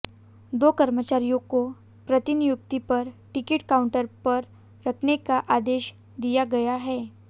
दो कर्मचारियों को प्रतिनियुक्ति पर टिकट काउंटर पर रखने का आदेश दिया गया है